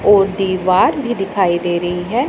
और दीवार भी दिखाई दे रही है।